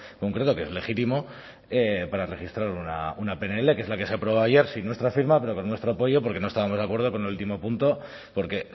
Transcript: concreto que es legítimo para registrar una pnl que es la que se aprobó ayer sin nuestra firma pero con nuestro apoyo porque no estábamos de acuerdo con el último punto porque